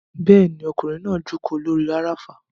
Bẹ́ẹ̀ni, ọkùnrin náà jókòó lórí afárá